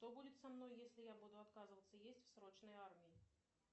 что будет со мной если я буду отказываться есть в срочной армии